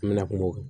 An mɛna kuma o